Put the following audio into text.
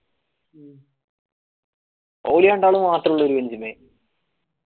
ഒരി രണ്ടാളും മാത്രം ഒരു bench മ്മെ